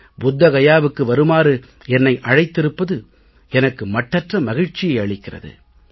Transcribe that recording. புத்த கயாவுக்கு வருமாறு என்னை அழைத்திருப்பது எனக்கு மட்டற்ற மகிழ்ச்சியை அளிக்கிறது